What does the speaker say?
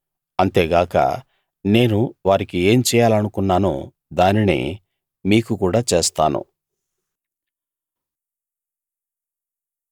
అంతేగాక నేను వారికి ఏం చేయాలనుకున్నానో దానినే మీకు కూడా చేస్తాను